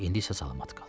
İndi isə salamat qal.